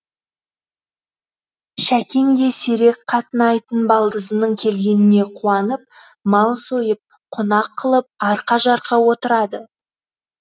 шәкең де сирек қатынайтын балдызының келгеніне қуанып мал сойып қонақ қылып арқа жарқа отырады